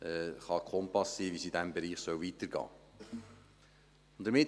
sie können ein Kompass sein, wie es in diesem Bereich weitergehen soll.